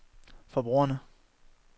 forbrugerne